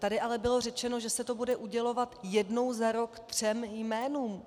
Tady ale bylo řečeno, že se to bude udělovat jednou za rok třem jménům.